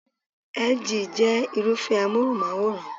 LG jẹ́ Irúfẹ́ amóhùnmáwòrán